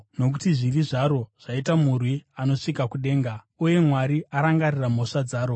nokuti zvivi zvaro zvaita murwi unosvika kudenga, uye Mwari arangarira mhosva dzaro.